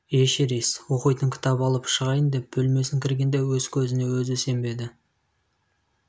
эшерест оқитын кітап алып шығайын деп бөлмесін кіргенде өз көзін өзі сенбеді